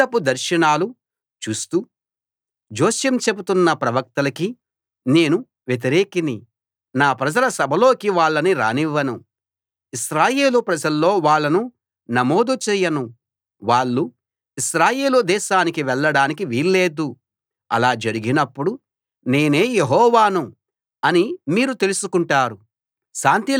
అబద్ధపు దర్శనాలు చూస్తూ జోస్యం చెప్తున్న ప్రవక్తలకి నేను వ్యతిరేకిని నా ప్రజల సభలోకి వాళ్ళని రానివ్వను ఇశ్రాయేలు ప్రజల్లో వాళ్ళను నమోదు చేయను వాళ్ళు ఇశ్రాయేలు దేశానికి వెళ్ళడానికి వీల్లేదు అలా జరిగినప్పుడు నేనే యెహోవాను అని మీరు తెలుసుకుంటారు